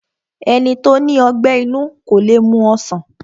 Ẹni tó ní ọgbẹ́ inú kó le mu ọsàn